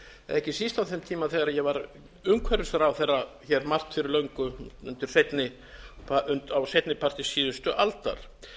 ekki síst á þeim tíma þegar ég var umhverfisráðherra hér margt fyrir löngu á seinni parti síðustu aldar